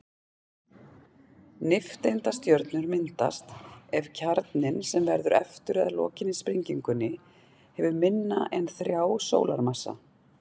Nifteindastjörnur myndast ef kjarninn, sem verður eftir að lokinni sprengingunni, hefur minna en þrjá sólarmassa.